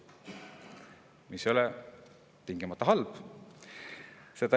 See ei ole tingimata halb.